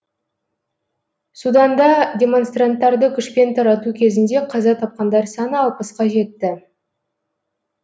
суданда демонстранттарды күшпен тарату кезінде қаза тапқандар саны алпысқа жетті